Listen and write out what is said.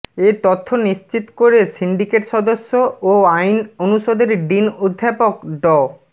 এ তথ্য নিশ্চিত করে সিন্ডিকেট সদস্য ও আইন অনুষদের ডিন অধ্যাপক ড